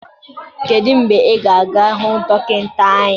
Kedu mgbe ị ga-aga hụ dọkịta anya?